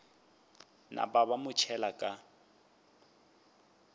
napa ba mo tšhela ka